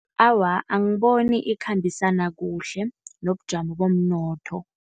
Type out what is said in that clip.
Awa, angiboni ikhambisana kuhle nobujamo bomnotho.